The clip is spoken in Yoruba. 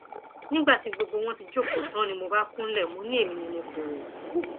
nígbà tí gbogbo wọn ti jókòó tán ni mo bá kúnlẹ mọ ni èmi ni mo pè wọn